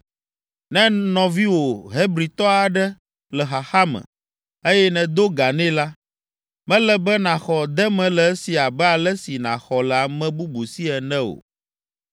“Ne nɔviwò Hebritɔ aɖe le xaxa me, eye nèdo ga nɛ la, mele be nàxɔ deme le esi abe ale si nàxɔ le ame bubu si ene o.